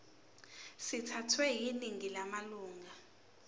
sithathwe yiningi lamalunga